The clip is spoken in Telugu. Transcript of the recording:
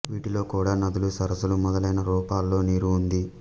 వీటిలో కూడా నదులు సరస్సులు మొదలైన రూపాల్లో నీరు ఉంది